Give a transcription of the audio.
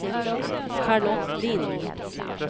Charlotte Lindh